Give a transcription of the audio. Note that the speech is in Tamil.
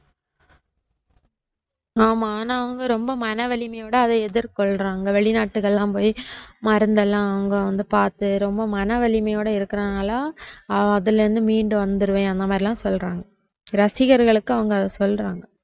ஆமா ஆனா அவங்க ரொம்ப மன வலிமையோட அத எதிர்கொள்றாங்க வெளிநாட்டுக்கெல்லாம் போயி மருந்தெல்லாம் அவங்க வந்து பாத்து ரொம்ப மன வலிமையோட இருக்குறதுனால அதுல இருந்து மீண்டு வந்திருவேன் அந்த மாதிரிலாம் சொல்றாங்க ரசிகர்களுக்கு அத அவங்க சொல்றாங்க